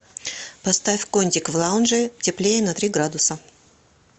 поставь кондик в лаунже теплее на три градуса